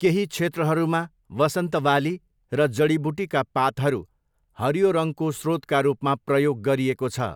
केही क्षेत्रहरूमा वसन्त बाली र जडीबुटीका पातहरू हरियो रङको स्रोतका रूपमा प्रयोग गरिएको छ।